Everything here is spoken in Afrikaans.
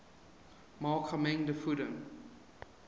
maak gemengde voeding